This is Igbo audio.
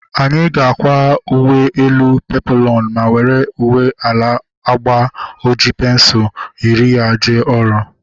Anyị ga-akwa uwe elu peploonu ma were uwe ala agba oji pensul yiri ya jee ọrụ